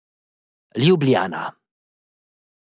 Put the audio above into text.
Ljubljana.